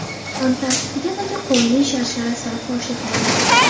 Antarktidadagi Qonli sharshara siri fosh etildi.